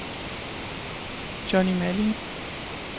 Johnni Malling